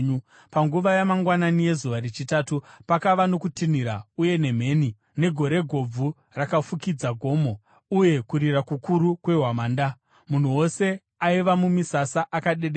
Panguva yamangwanani yezuva rechitatu pakava nokutinhira uye nemheni, negore gobvu rakafukidza gomo, uye kurira kukuru kwehwamanda. Munhu wose aiva mumisasa akadedera.